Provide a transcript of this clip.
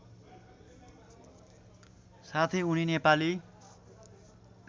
साथै उनी नेपाली